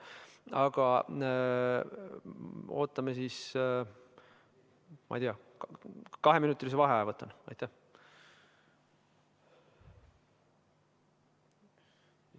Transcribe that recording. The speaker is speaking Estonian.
Aga ootame siis, ma ei tea, võtan kaheminutise vaheaja.